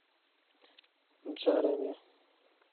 джарами